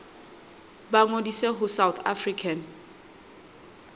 ba ngodise ho south african